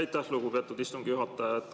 Aitäh, lugupeetud istungi juhataja!